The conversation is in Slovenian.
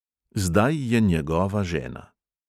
Zdaj je njegova žena.